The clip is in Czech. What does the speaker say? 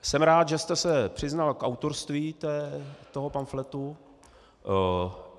Jsem rád, že jste se přiznal k autorství toho pamfletu.